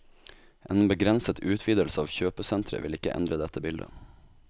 En begrenset utvidelse av kjøpesentret vil ikke endre dette bildet.